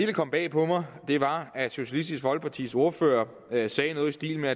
kom bag på mig var at socialistisk folkepartis ordfører sagde noget i stil med